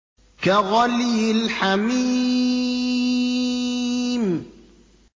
كَغَلْيِ الْحَمِيمِ